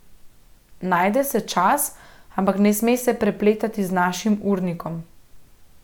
Najde se čas, ampak ne sme se prepletati z našim urnikom.